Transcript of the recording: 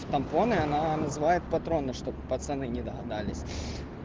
тампоны она называет патроны чтобы пацаны не догадались